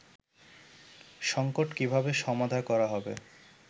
সঙ্কট কীভাবে সমাধা করা হবে